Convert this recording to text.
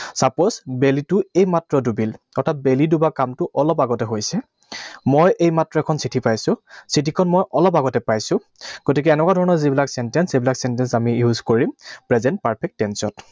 Suppose, বেলিটো এইমাত্ৰ ডুবিল। অৰ্থাৎ বেলি ডুবা কামটো অলপ আগতে হৈছে। মই এইমাত্ৰ এখন চিঠি পাইছো। চিঠিখন মই অলপ আগতে পাইছো। গতিকে এনেকুৱা ধৰণৰ যিবিলাক sentence, সেইবিলাক sentence আমি use কৰিম present perfect tense ত।